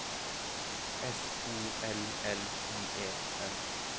S O L L I E N